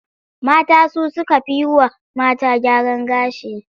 Mata su suka fi yi wa mata gyaran gashi.